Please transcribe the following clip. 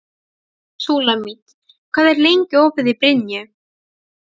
Súlamít, hvað er lengi opið í Brynju?